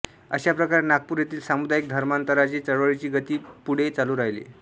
अशाप्रकारे नागपूर येथील सामूदायिक धर्मांतरांची चळवळीची गती पुढे चालू राहिली